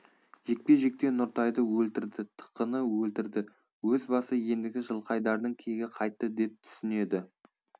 жекпе-жекте нұртайды өлтірді тықыны өлтірді өз басы ендігі жылқайдардың кегі қайтты деп түсінеді